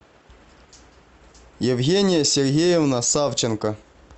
евгения сергеевна савченко